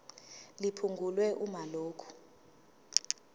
liphungulwe uma lokhu